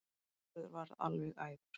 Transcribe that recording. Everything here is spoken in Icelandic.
Sigurður varð alveg æfur.